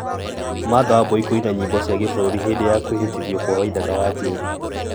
martha wambui kũina nyĩmbo cia gĩbũrũri hĩndĩ ya kwĩhĩtithio kwa waithaka wa jane